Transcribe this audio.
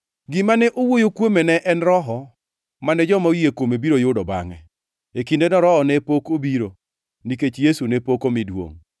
Gima ne owuoyo kuome ne en Roho, mane joma oyie kuome biro yudo bangʼe. E kindeno Roho ne pok obiro, nikech Yesu ne pok omi duongʼ.